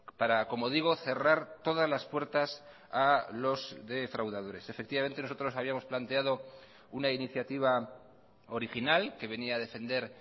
para como digo cerrar todas las puertas a los defraudadores efectivamente nosotros habíamos planteado una iniciativa original que venía a defender